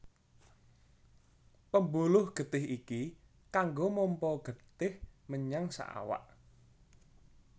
Pembuluh getih iki kanggo mompa getih menyang saawak